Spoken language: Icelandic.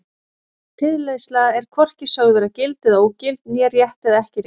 Tilleiðsla er er hvorki sögð vera gild eða ógild né rétt eða ekki rétt.